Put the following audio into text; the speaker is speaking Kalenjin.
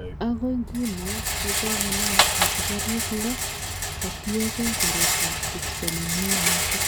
Agoi nguno ko kokenam asikariik loo kotienge baret ab kipsomanian noton